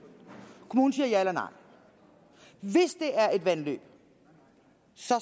kommunen siger ja eller nej hvis det er vandløb